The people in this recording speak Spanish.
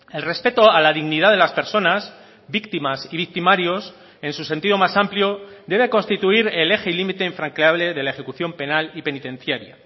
el respeto a la dignidad de las personas víctimas y victimarios en su sentido más amplio debe constituir el eje y límite infranqueable de la ejecución penal y penitenciaria